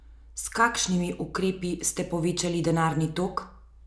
S kakšnimi ukrepi ste povečali denarni tok?